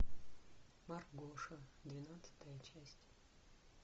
маргоша двенадцатая часть